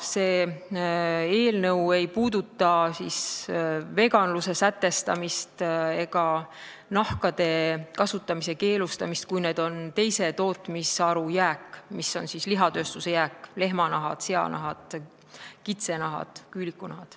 See eelnõu ei puuduta veganluse sätestamist ega nahkade kasutamise keelustamist, kui need on teise tootmisharu jääk, lihatööstuse jääk: lehmanahad, seanahad, kitsenahad, küülikunahad.